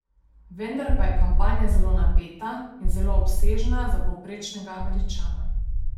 Vendar pa je kampanja zelo napeta in zelo obsežna za povprečnega Američana.